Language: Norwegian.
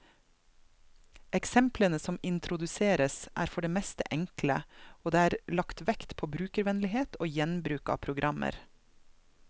Eksemplene som introduseres, er for det meste enkle, og det er lagt vekt på brukervennlighet og gjenbruk av programmer.